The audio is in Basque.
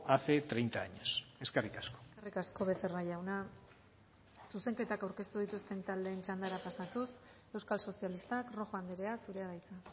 hace treinta años eskerrik asko eskerrik asko becerra jauna zuzenketak aurkeztu dituzten taldeen txandara pasatuz euskal sozialistak rojo andrea zurea da hitza